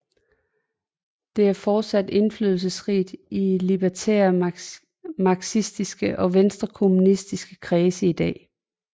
Det er fortsat indflydelsesrigt i libertære marxistiske og venstrekommunistiske kredse i dag